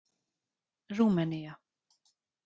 Rúmenía